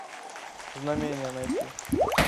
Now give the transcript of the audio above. знамение найти